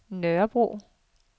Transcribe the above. Nørrebro